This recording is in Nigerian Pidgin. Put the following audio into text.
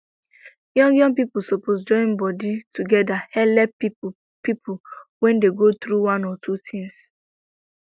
young young people suppose join body together helep people people when dey go through one or two things